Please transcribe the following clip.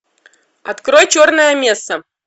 открой черная месса